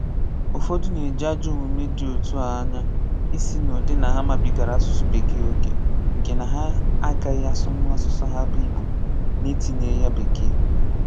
Ụfọdụ na-eji ajọ omume dị otu à ányà isi n'ụdị na ha mabigara asụsụ Bekee oke, nke na ha agaghị asụnwu asụsụ ha bụ Igbo na-etinyeghị ya Bekee.